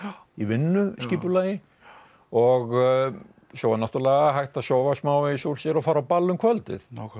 í vinnuskipulagi og svo var náttúrulega hægt að sofa smávegis úr sér og fara á ball um kvöldið